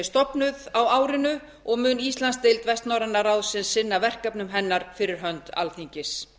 stofnuð á árinu og mun íslandsdeild vestnorræna ráðsins sinna verkefnum hennar fyrir hönd alþingis